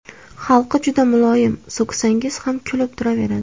Xalqi juda muloyim, so‘ksangiz ham kulib turaveradi!